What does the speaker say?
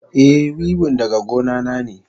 Eh, wiwin daga gona na ne.